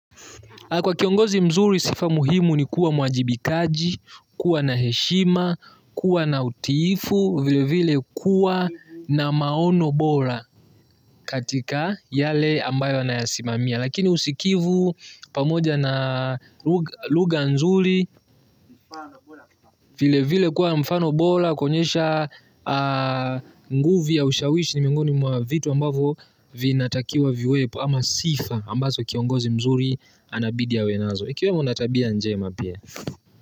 Kwa kiongozi mzuri sifa muhimu ni kuwa mwajibikaji, kuwa na heshima, kuwa na utiifu, vile vile kuwa na maono bora katika yale ambayo anayosimamia. Lakini usikivu pamoja na lugha nzuri, vile vile kuwa mfano bora, kuonyesha nguvu ya ushawishi ni miongoni mwa vitu ambavyo vinatakiwa viwepo ama sifa ambazo kiongozi mzuri anabidi awe nazo. Ikiwa una tabia njema pia.